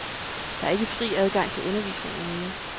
Der er ikke fri adgang til undervisningen mere.